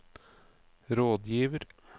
rådgiver